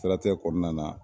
O siratigɛ kɔnɔna na